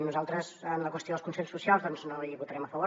nosaltres en la qüestió dels consells socials doncs no hi votarem a favor